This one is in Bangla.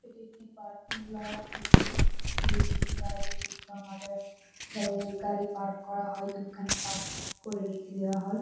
এটি একটি পার্কিং লট যেখানে পুলিশের গাড়ি এবং আদার্শ যাদের গাড়ি পার্ক করা হয়। পার্ক করে রেখে দেওয়া হয়।